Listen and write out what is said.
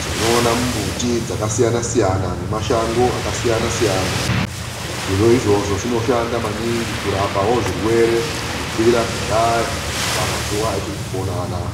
tinoona mumbuti dzakasiyana-siyana nemashango akasiyana-siyana. Zviro izvozvo zvinoshanda maningi kurapawo zvirwere kubvira kudhaya kusvika mazuwa etiri kupona anaa.